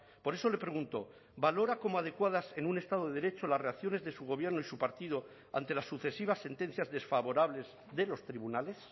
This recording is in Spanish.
por eso le pregunto valora como adecuadas en un estado de derecho las reacciones de su gobierno y su partido ante las sucesivas sentencias desfavorables de los tribunales